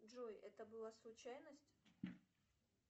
джой это была случайность